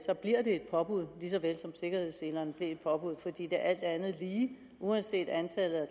påbud lige så vel som sikkerhedsselerne blev et påbud fordi det alt andet lige uanset antallet af